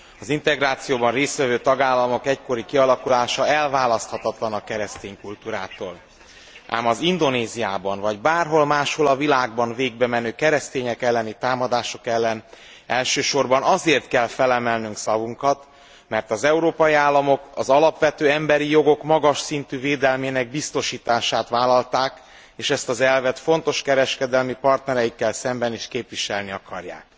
Az integrációban részt vevő tagállamok egykori kialakulása elválaszthatatlan a keresztény kultúrától, ám az Indonéziában vagy bárhol máshol a világban végbemenő, keresztények elleni támadások ellen elsősorban azért kell felemelnünk szavunkat, mert az európai államok az alapvető emberi jogok magas szintű védelmének biztosítását vállalták, és ezt az elvet fontos kereskedelmi partnereikkel szemben is képviselni akarják.